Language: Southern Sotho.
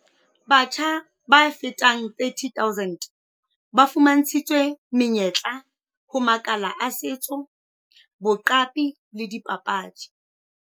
Batjha ba fetang 30 000 ba fuma ntshitswe menyetla ho makala a setso, boqapi le dipapadi.